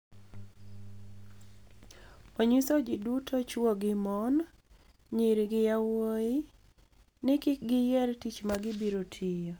Oniyiso ji duto chwo gi moni, niyiri gi yawuowi nii kik giyier tich ma gibiro tiyo.